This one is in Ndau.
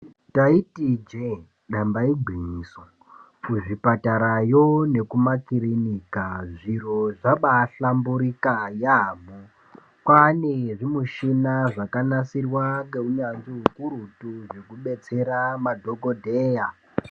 Taiti ijee damba igwinyiso, kuzvipatarayo nekumakirinika zviro zvabaahlamburika yaamho. Kwaane zvimushina zvakanasirwa ngeunyanzvi ukurutu zvekubetsera madhokodheya.